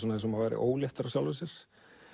eins og maður væri óléttur af sjálfum sér